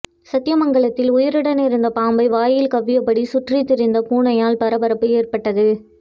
சத்தியமங்கலத்தில் உயிருடன் இருந்த பாம்பை வாயில் கவ்வியபடி சுற்றித்திரிந்த பூனையால் பரபரப்பு ஏற்பட்டது